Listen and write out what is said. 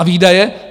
A výdaje?